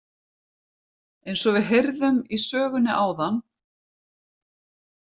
Eins og við heyrðum í sögunni áðan.